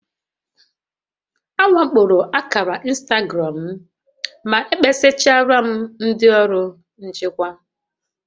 A wakporo akàrà ịnstagram m, ma ekpesarala m ndị ọrụ nchịkwa